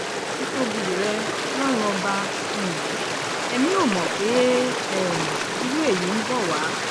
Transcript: títóbi rẹ̀ ọlọ́run ọba um ẹ̀mí ò mọ̀ pé um irú èyí ń bọ̀ wá